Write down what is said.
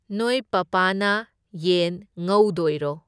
ꯅꯣꯏ ꯄꯥꯄꯥꯅ ꯌꯦꯟ ꯉꯧꯗꯣꯏꯔꯣ?